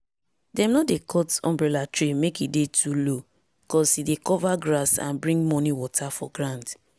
dem no dey cut umbrella tree mek e dey too low cause e dey cover grass and bring morning water for ground.